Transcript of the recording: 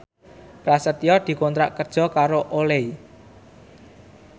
Prasetyo dikontrak kerja karo Olay